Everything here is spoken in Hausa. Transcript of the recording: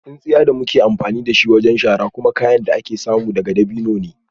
Tsintsiya da muke amfani da shi wajen shara kuma kayan da ake samu daga dabino ne